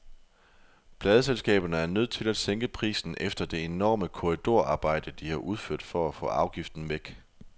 Pladeselskaberne er nødt til at sænke prisen efter det enorme korridorarbejde, de har udført for at få afgiften væk.